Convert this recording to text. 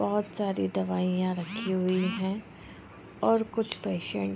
बहुत सारी दवाइयाँ रखी हुई है और कुछ पेशेंट --